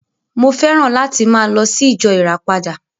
Mo féràn láti máa lọ sí ìjọ ìràpadà